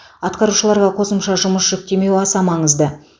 атқарушыларға қосымша жұмыс жүктемеу аса маңызды